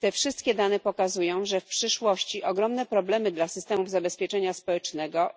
Te wszystkie dane pokazują, że w przyszłości pojawią się ogromne problemy dla systemów zabezpieczenia społecznego,